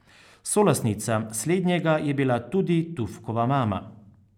Solastnica slednjega je bila tudi Tufkova mama.